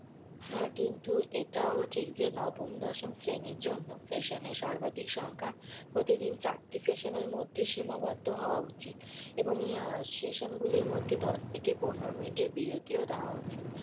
হ্যাঁ কিন্তু এটাও ঠিক যে নবম দশম শ্রেণীর জন্য session এর সর্বাধিক সংখ্যা প্রতিদিন চারটে session এর মধ্যে সীমাবদ্ধ হওয়া উচিত এবং session গুলির মধ্যে দশ থেকে পনেরো মিনিটের বিরতিও দেওয়া উচিত।